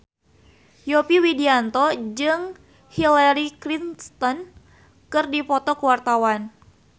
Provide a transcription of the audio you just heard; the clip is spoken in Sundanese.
Yovie Widianto jeung Hillary Clinton keur dipoto ku wartawan